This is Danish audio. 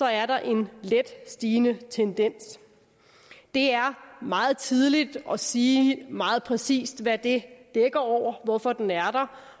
er der en let stigende tendens det er meget tidligt at sige meget præcis hvad det dækker over hvorfor den er